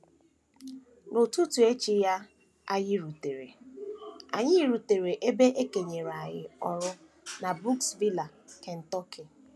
N’ụtụtụ echi ya, anyị rutere, anyị rutere ebe e kenyere anyị ọrụ na Brooksville, Kentucky.